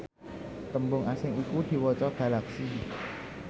tembung asing iku diwaca galaxy